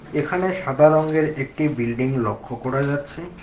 এখানে সাদা রংয়ের একটি বিল্ডিং লক্ষ করা যাচ্ছে।